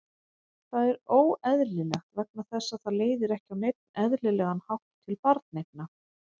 Það er óeðlilegt vegna þess að það leiðir ekki á neinn eðlilegan hátt til barneigna.